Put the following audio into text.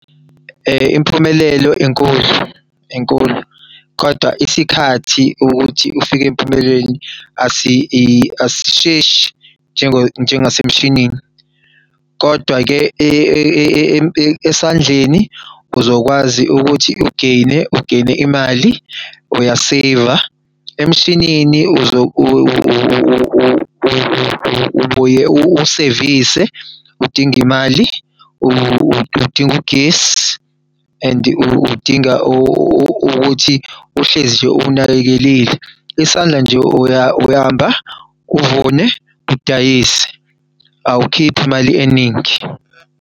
Impumelelo enkulu, inkulu. Kodwa isikhathi ukuthi ufike empumelelweni asisheshi njengo njengase mshinini kodwa-ke esandleni uzokwazi ukuthi u-gain-e, u-gain-e imali uya-save-a. Emshinini ubuye uwusevise uding'imali, uding'ugesi and udinga ukuthi uhlezi nje uwunakekelile. Isandla nje uyahamba uvune udayise, awukhiphi imali eningi.